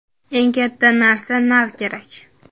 Eng katta narsa - nav kerak.